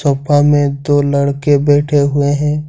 Sofa में दो लड़के बैठे हुए है।